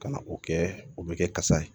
Ka na o kɛ o bɛ kɛ kasa ye